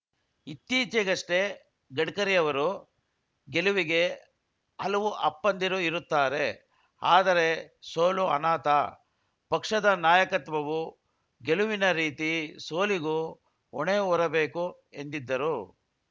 ಇತ್ತೀಚೆಗಷ್ಟೇ ಗಡ್ಕರಿ ಅವರು ಗೆಲುವಿಗೆ ಹಲವು ಅಪ್ಪಂದಿರು ಇರುತ್ತಾರೆ ಆದರೆ ಸೋಲು ಅನಾಥ ಪಕ್ಷದ ನಾಯಕತ್ವವು ಗೆಲುವಿನ ರೀತಿ ಸೋಲಿಗೂ ಹೊಣೆ ಹೊರಬೇಕು ಎಂದಿದ್ದರು